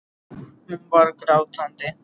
Hún var grátandi.